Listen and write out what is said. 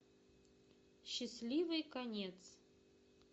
счастливый конец